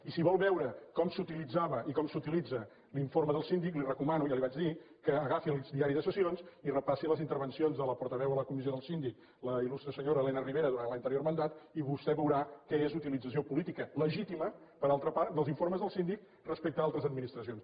i si vol veure com s’utilitzava i com s’utilitza l’informe del síndic li recomano ja li ho vaig dir que agafi el diari de sessions i repassi les intervencions de la portaveu a la comissió del síndic la il·lustre senyora elena ribera durant l’anterior mandat i vostè veurà què és utilització política legítima per altra part dels informes del síndic respecte a altres administracions